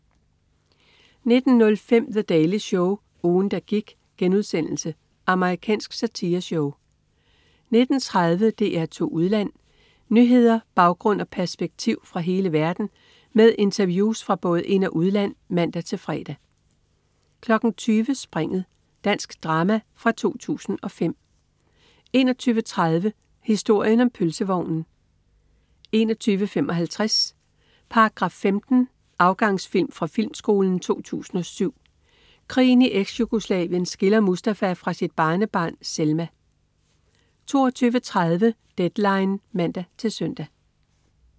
19.05 The Daily Show. Ugen, der gik.* Amerikansk satireshow 19.30 DR2 Udland. Nyheder, baggrund og perspektiv fra hele verden med interviews fra både ind- og udland (man-fre) 20.00 Springet. Dansk drama fra 2005 21.30 Historien om. Pølsevognen 21.55 Paragraf 15. Afgangsfilm fra Filmskolen 2007. Krigen i Eksjugoslavien skiller Mustafa fra sit barnebarn Selma 22.30 Deadline (man-søn)